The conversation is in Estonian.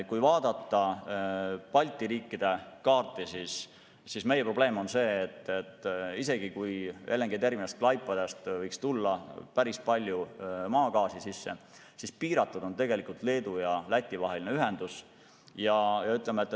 Kui vaadata Balti riikide kaarti, siis meie probleem on see, et isegi kui LNG-terminalist Klaipedas võiks tulla päris palju maagaasi sisse, siis Leedu ja Läti vaheline ühendus on tegelikult piiratud.